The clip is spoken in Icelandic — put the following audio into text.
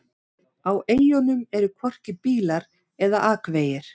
Á eyjunum eru hvorki bílar eða akvegir.